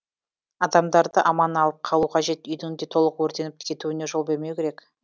адамдарды аман алып қалу қажет үйдің де толық өртеніп кетуіне жол бермеу керек